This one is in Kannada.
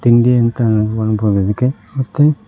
ತಿಂಡಿ ಅಂತ ಅನ್ಬೋದ್ ಇದಕ್ಕೆ ಮತ್ತೆ--